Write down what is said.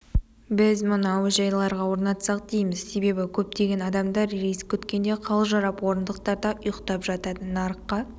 біз мұны әуежайларға орнатсақ дейміз себебі көптеген адамдар рейс күткенде қалжырап орындықтарда ұйықтап жатады нарыққа